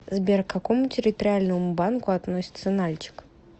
сбер к какому территориальному банку относится нальчик